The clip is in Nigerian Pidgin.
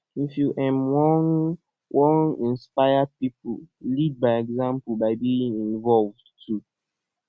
if you um wan wan inspire pipo lead by example by being involved too